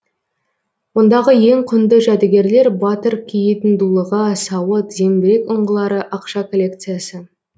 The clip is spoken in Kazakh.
ондағы ең құнды жәдігерлер батыр киетін дулыға сауыт зеңбірек ұңғылары ақша коллекциясы